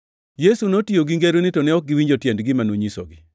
Yesu notiyo gi ngeroni to ne ok giwinjo tiend gima nonyisogi.